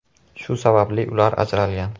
Shu sababli ular ajralgan.